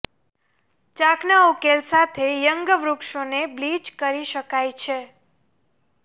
ચાકના ઉકેલ સાથે યંગ વૃક્ષોને બ્લીચ કરી શકાય છે